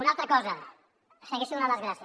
una altra cosa segueixo donant les gràcies